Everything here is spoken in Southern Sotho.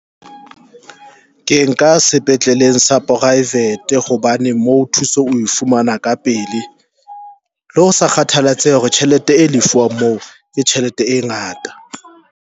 Ke nka sepetleleng sa private hobane mo thuso o e fumana ka pele le ho sa kgathalatsehe hore tjhelete e lefuwang moo ke tjhelete e ngata.